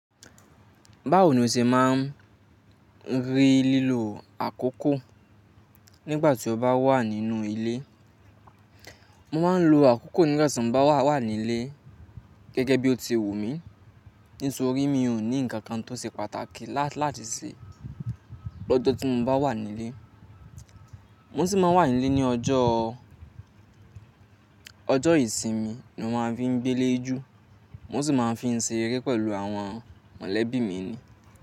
Báwo ni o ṣe máa ń rí lílo àkókò nígbà tí o bá wà nínú ilé? Mo máa ń lo àkókò nígbà tí mo bá wà ní ilé gẹ́gẹ́ bí o ti wù mí. Nísorí mi ò ní ǹkan kan tó ṣe pàtàkì láti ṣe lọ́jọ́ tí mo bá wà ní ilé. Mo sì máa n wà ní ilé ní ọjọ́ ìsinmi ni mo máa fi ń gbé ilé jù. Mo sì máa ń fi ń seré pẹ̀lú àwọn mọ̀lẹ́bí mi ni.